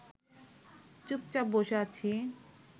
চুপচাপ বসে আছি